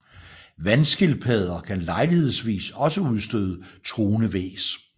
Vandskildpadder kan lejlighedsvis også udstøde truende hvæs